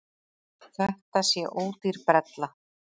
Þetta sé ódýr brella.